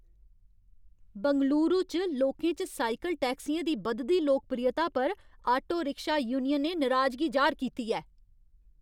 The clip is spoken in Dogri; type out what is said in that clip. बैंगलुरू च लोकें च साइकल टैक्सियें दी बधदी लोकप्रियता पर आटो रिक्शा यूनियनें नराजगी जाह्‌र कीती ऐ।